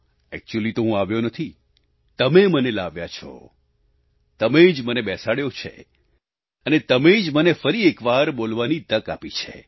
actually તો હું આવ્યો નથી તમે મને લાવ્યા છો તમે જ મને બેસાડ્યો છે અને તમે જ મને ફરી એકવાર બોલવાની તક આપી છે